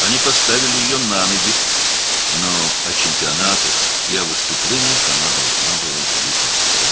Onlar onu ayağa qaldırdılar, lakin o, çempionatları və çıxışları həmişəlik unutmalı idi.